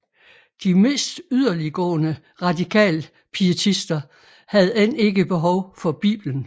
De mest yderliggående radikalpietister havde end ikke behov for Bibelen